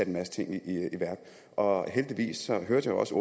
en masse ting i værk og heldigvis hørte jeg også